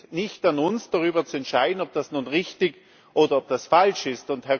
Es liegt nicht an uns, darüber zu entscheiden, ob das nun richtig oder ob das falsch ist.